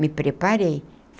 Me preparei.